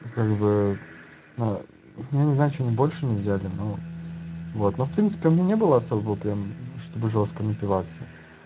ну как бы я не знаю почему они больше не взяли ну вот ну в принципе у меня не было особо прям чтобы жёстко напиваться